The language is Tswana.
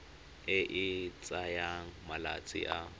e e tsayang malatsi a